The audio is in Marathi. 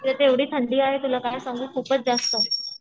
इथे तर एवढी थंडी आहे तुला काय सांगू खूपच जास्त